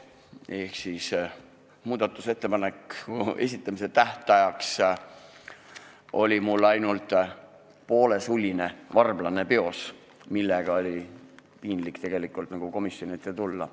Ehk siis muudatusettepaneku esitamise tähtajaks oli mul peos ainult n-ö poolesuline varblane, millega oli piinlik komisjoni ette tulla.